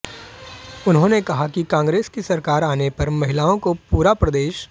उन्होंने कहा कि कांग्रेस की सरकार आने पर महिलाओं को पूरे प्रदेश